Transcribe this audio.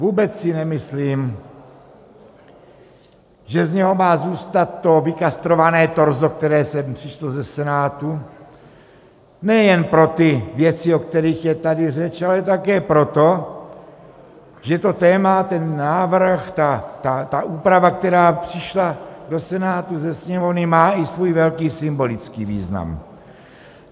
Vůbec si nemyslím, že z něho má zůstat to vykastrované torzo, které sem přišlo ze Senátu, nejen pro ty věci, o kterých je tady řeč, ale také proto, že to téma, ten návrh, ta úprava, která přišla do Senátu ze Sněmovny, má i svůj velký symbolický význam.